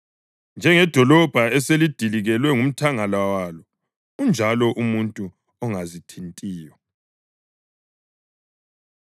Njengedolobho eselidilikelwe ngumthangala walo unjalo umuntu ongazithintiyo.